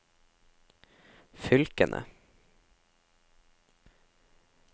fylkene